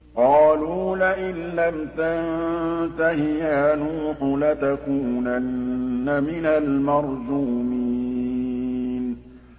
قَالُوا لَئِن لَّمْ تَنتَهِ يَا نُوحُ لَتَكُونَنَّ مِنَ الْمَرْجُومِينَ